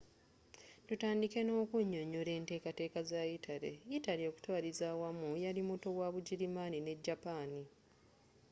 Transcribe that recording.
tutandike n’okunyonyola enteekateeka za yitale. yitale okutwaliza awamu yali muto wa bugirimani ne japaani.